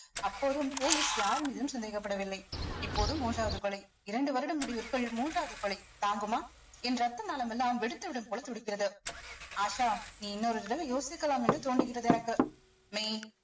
அப்போதும் police யார் மீதும் சந்தேகப்படவில்லை இப்போது மூன்றாவது கொலை இரண்டு வருட முடிவிற்குள் மூன்றாவது கொலை தாங்குமா என் ரத்த நானமெல்லாம் வெடித்துவிடும் போல துடிக்கிறது ஆஷா நீ இன்னொரு தடவை யோசிக்கலாம் என்று தோன்றுகிறது எனக்கு மெய்